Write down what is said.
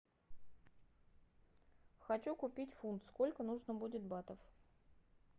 хочу купить фунт сколько нужно будет батов